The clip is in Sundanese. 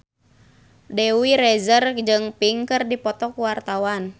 Dewi Rezer jeung Pink keur dipoto ku wartawan